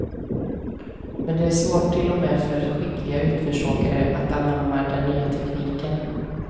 Men det är svårt till och med för skickliga utförsåkare att anamma den nya tekniken.